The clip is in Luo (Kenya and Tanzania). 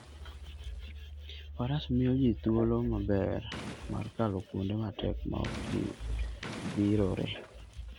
Faras miyo ji thuolo maber mar kalo kuonde matek maok gidhirore.